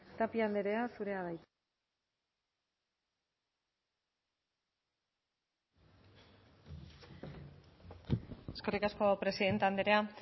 tapia andrea zurea da hitza eskerrik asko presidente andrea